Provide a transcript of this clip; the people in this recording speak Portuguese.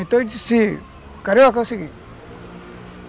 Então eu disse, Carioca, é o seguinte.